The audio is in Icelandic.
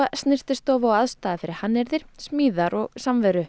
snyrtistofa og aðstaða fyrir hannyrðir smíðar og samveru